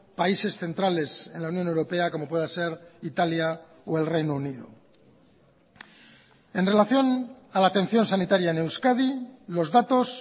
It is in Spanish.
países centrales en la unión europea como pueda ser italia o el reino unido en relación a la atención sanitaria en euskadi los datos